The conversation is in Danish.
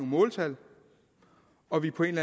måltal og at vi på en